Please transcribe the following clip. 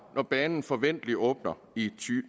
når banen forventeligt åbner i